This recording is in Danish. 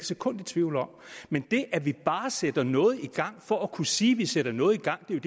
sekund i tvivl om men det at vi bare sætter noget i gang for at kunne sige at vi sætter noget i gang er